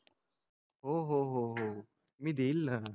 हो हो मी देईल ना